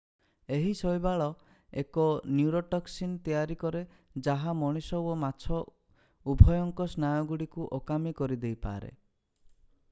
ଏହି ଶୈବାଳ ଏକ ନ୍ୟୁରୋଟକ୍ସିନ ତିଆରି କରେ ଯାହା ମଣିଷ ଓ ମାଛ ଉଭୟଙ୍କ ସ୍ନାୟୁଗୁଡ଼ିକୁ ଅକାମୀ କରିଦେଇପାରେ